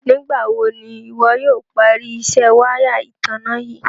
Nígbà wò ni iwọ̀ yóò pàrí ìṣẹ̀ wàya ìtànà yìí?